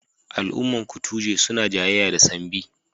Al'umman kutuje suna jayayya da Sambi.